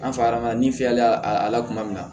An fa ma ni fiyɛlila a la kuma min na